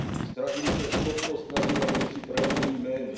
Ztratili jsme schopnost nazývat věci pravými jmény.